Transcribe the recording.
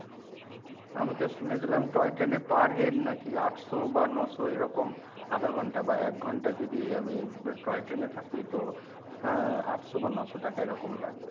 আমি তো শুনেছিলাম toy train এ per head নাকি আটশ বা ন’শ এরকম আধা ঘন্টা বা এক ঘন্টা যদি আমি toy train এ থাকি তো আহ আটশ বা ন’শ টাকা এরকম লাগবে।